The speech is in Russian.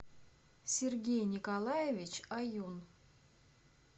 сергей николаевич аюн